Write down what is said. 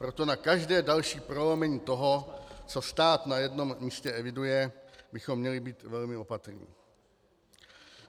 Proto na každé další prolomení toho, co stát na jednom místě eviduje, bychom měli být velmi opatrní.